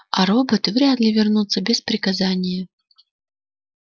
а роботы вряд ли вернутся без приказания